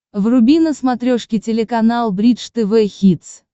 вруби на смотрешке телеканал бридж тв хитс